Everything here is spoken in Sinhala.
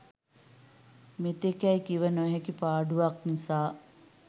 මෙතෙකැයි කිව නොහැකි පාඩුවක් නිසා